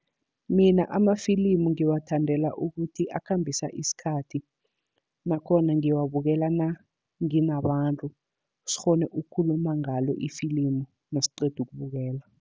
Mina amafilimu ngiwathandela ukuthi akhambisa isikhathi. Nakhona ngiwabukela nanginabantu, sikghone ukukhuluma ngalo ifilimu nasiqeda ukubukela.